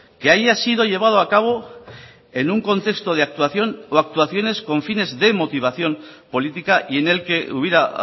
que haya sido llevado a cabo en un contexto de actuación o actuaciones con fines de motivación política y en el que hubiera